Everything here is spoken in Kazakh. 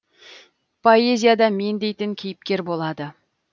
поэзияда мен дейтін кейіпкер болады